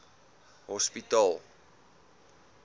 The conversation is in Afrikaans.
hospitaal